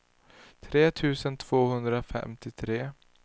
tre tusen tvåhundrafemtiotre